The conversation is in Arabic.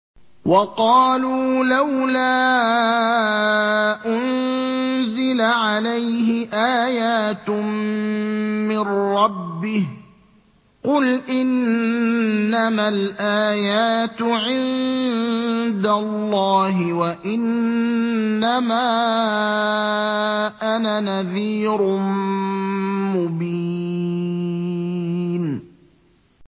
وَقَالُوا لَوْلَا أُنزِلَ عَلَيْهِ آيَاتٌ مِّن رَّبِّهِ ۖ قُلْ إِنَّمَا الْآيَاتُ عِندَ اللَّهِ وَإِنَّمَا أَنَا نَذِيرٌ مُّبِينٌ